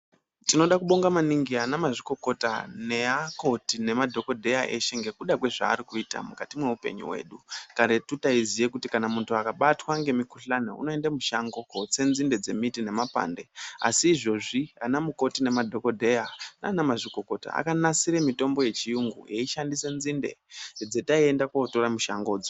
Tinoda kubonga maningi anamazvikokota, neakoti nemadhokodheya eshe ngekuda kwezvaari kuita mwukati mweupenyu hwedu. Karetu taiziye kuti kana muntu akabatwa ngemukuhlani unoende mushango kootse nzinde dzemiti nemakwande, Asi izvozvi anamukoti nemadhokodheya naanamazvikokota akanasire mitombo yechiyungu yeishandise nzinde dzeitaende mushango kundotoradzo.